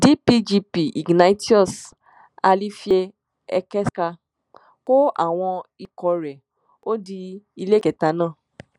dpgp ignatius alifiekeska kó àwọn ikọ̀ rẹ̀ ó di iléekétà náà